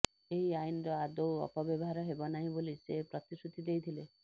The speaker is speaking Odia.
ଏହି ଆଇନର ଆଦୌ ଅପବ୍ୟବହାର ହେବନାହିଁ ବୋଲି ସେ ପ୍ରତିଶ୍ରୁତି ଦେଇଥିଲେ